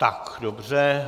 Tak dobře.